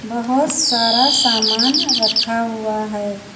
बहोत सारा सामान रखा हुआ है।